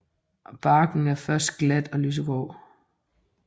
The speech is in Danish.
Barken er først glat og lysegrå